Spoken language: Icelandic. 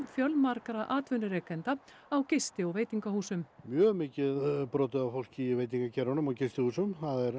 fjölmargra atvinnurekenda á gisti og veitingahúsum mjög mikið brotið á fólki í veitingageiranum og gistihúsum